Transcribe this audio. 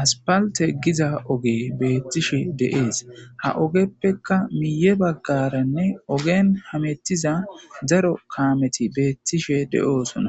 aspalte giza oge beettishe deees ha ogeppekka miye baggaranne ogen hamettiza zaro kaameti beettishe de7oosona